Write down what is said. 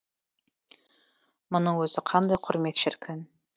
мұның өзі қандай құрмет шіркін